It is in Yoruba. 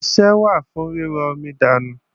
Asẹ́ wà fún ríro omi dànù.